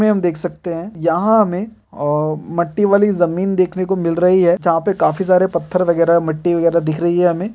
में हम देख सकते हैं यहाँ हमें अ मट्टी वाली जमीन देखने को मिल रही है यहाँ पर काफी सारे पत्थर वगैरह मट्टी वगैरह दिख रही है हमें --